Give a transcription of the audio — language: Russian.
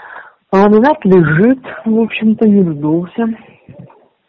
ламинат лежит в общем-то не вздулся